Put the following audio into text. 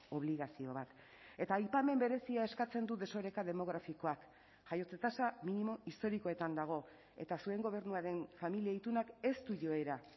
obligazio bat eta aipamen berezia eskatzen du desoreka demografikoak jaiotze tasa minimo historikoetan dago eta zuen gobernuaren familia itunak ez du joera